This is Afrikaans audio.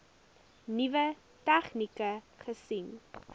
nuwe tegnieke gesien